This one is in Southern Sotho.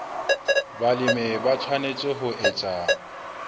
balemi ba tshwanetse ho etsa